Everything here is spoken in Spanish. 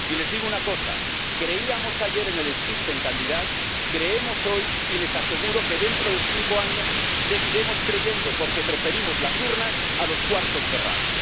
Y les digo una cosa creíamos ayer en el Spitzenkandidat creemos hoy y les aseguro que dentro de cinco años seguiremos creyendo, porque preferimos las urnas a los cuartos cerrados.